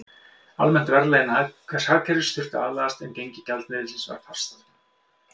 Almennt verðlag innan hvers hagkerfis þurfti að aðlagast, en gengi gjaldmiðilsins var fast.